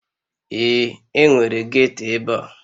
Ee, enwere ghetto ebe a